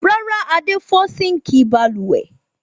Rárá, Adé fọ́ síńkì balùwẹ̀.